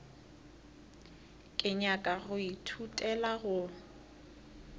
ke nyaka go ithutela go